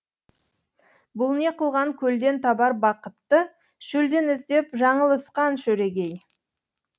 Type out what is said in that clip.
бұл не қылған көлден табар бақытты шөлден іздеп жаңылысқан шөрегей